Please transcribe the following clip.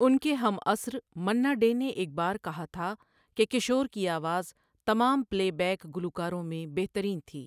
ان کے ہم عصر مَنّا ڈے نے ایک بار کہا تھا کہ کشور کی آواز تمام پلے بیک گلوکاروں میں بہترین تھی۔